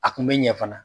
A kun bɛ ɲɛ fana